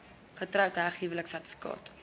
getroud heg huweliksertifikaat